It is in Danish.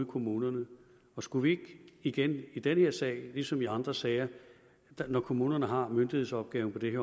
kommunerne og skulle vi ikke igen i den her sag ligesom i andre sager når kommunerne har myndighedsopgaven på det